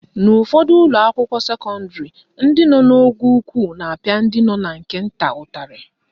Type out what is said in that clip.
N'ụfọdụ ụlọakwụkwọ sekọndịrị, ndị nọ n'ogo ukwu na-apịa ndị nọ na nke nta ụtarị